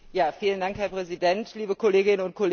Herr Präsident, liebe Kolleginnen und Kollegen!